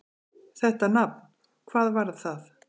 Þetta nafn: hvað var það?